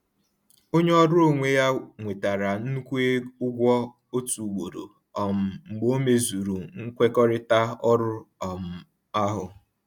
Onye ọrụ onwe ya nwetara nnukwu ụgwọ otu ugboro um mgbe o mezuru nkwekọrịta ọrụ um ahụ